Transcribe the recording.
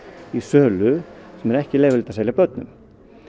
í sölu sem er ekki leyfilegt að selja börnum